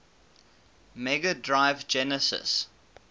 mega drive genesis